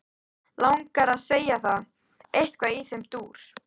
Langar að segja það, eitthvað í þeim dúr.